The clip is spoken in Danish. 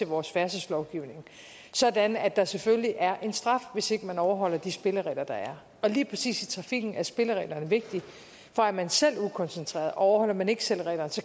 vores færdselslovgivning sådan at der selvfølgelig er en straf hvis ikke man overholder de spilleregler der er og lige præcis i trafikken er spillereglerne vigtige for er man selv ukoncentreret og overholder man ikke selv reglerne